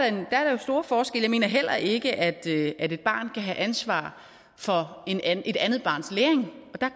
store forskelle jeg mener heller ikke at ikke at et barn kan have ansvar for et andet barns læring